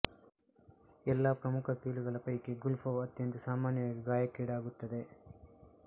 ಎಲ್ಲ ಪ್ರಮುಖ ಕೀಲುಗಳ ಪೈಕಿ ಗುಲ್ಫವು ಅತ್ಯಂತ ಸಾಮಾನ್ಯವಾಗಿ ಗಾಯಕ್ಕೀಡಾಗುತ್ತದೆ